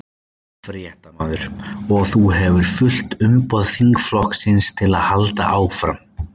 Fréttamaður: Og þú hefur fullt umboð þingflokksins til þess að halda áfram?